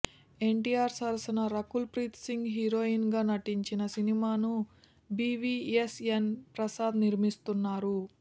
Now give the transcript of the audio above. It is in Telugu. ఎన్టీఆర్ సరసన రకుల్ ప్రీత్ సింగ్ హీరోయిన్ గా నటించిన ఈ సినిమాని బివిఎస్ఎన్ ప్రసాద్ నిర్మిస్తున్నారు